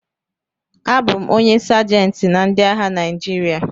Abụ m onye Sajentị na ndị agha Naịjirịa